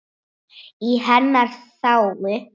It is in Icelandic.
Í hennar þágu.